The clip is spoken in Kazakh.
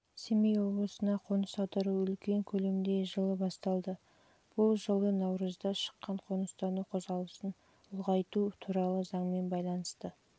семей облысына қоныс аудару үлкен көлемде жылы басталды бұл жылы наурызда шыққан қоныстану қозғалысын ұлғайту туралы заңмен байланысты